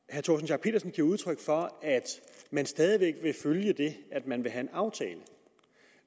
de udtryk for at man stadig væk vil følge det at man vil have en aftale